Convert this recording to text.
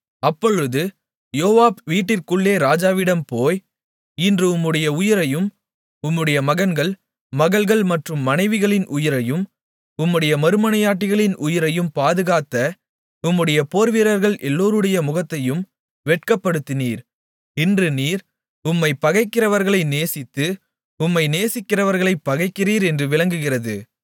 அப்பொழுது யோவாப் வீட்டிற்குள்ளே ராஜாவிடம் போய் இன்று உம்முடைய உயிரையும் உம்முடைய மகன்கள் மகள்கள் மற்றும் மனைவிகளின் உயிரையும் உம்முடைய மறுமனையாட்டிகளின் உயிரையும் பாதுகாத்த உம்முடைய போர்வீரர்கள் எல்லோருடைய முகத்தையும் வெட்கப்படுத்தினீர் இன்று நீர் உம்மைப் பகைக்கிறவர்களை நேசித்து உம்மை நேசிக்கிக்கிறவர்களைப் பகைக்கிறீர் என்று விளங்குகிறது